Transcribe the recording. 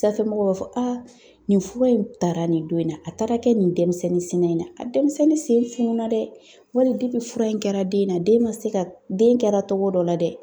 Sanfɛmɔgɔw b'a fɔ a nin fura in taara nin don in na, a taara kɛ nin denmisɛnnin sina in na, a denmisɛnnin sen fununna dɛ wali fura in kɛra den na den ma se ka den kɛra togo dɔ la dɛ.